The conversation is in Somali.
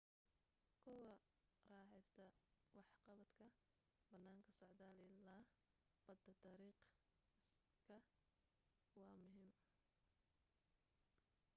kuwa ku raaxaysta waxqabadka banaanka, socdaal ila badda dariiqa iskay waa muhim